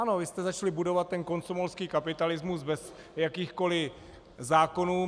Ano, vy jste začali budovat ten komsomolský kapitalismus bez jakýchkoli zákonů.